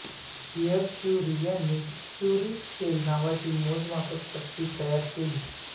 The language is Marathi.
पिएर क्युरी यांनी क्युरी स्केल नावाची मोजमापपट्टीही तयार केली